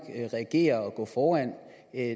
reagerer og går foran